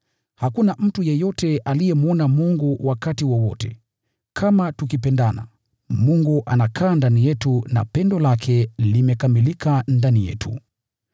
Hakuna mtu yeyote aliyemwona Mungu wakati wowote. Lakini tukipendana, Mungu anakaa ndani yetu, na pendo lake limekamilika ndani yetu.